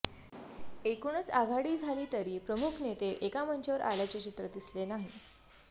एकूणच आघाडी झाली तरी प्रमुख नेते एका मंचावर आल्याचे चित्र दिसले नाही